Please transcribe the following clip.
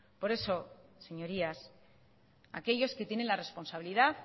por eso señorías aquellos que tienen la responsabilidad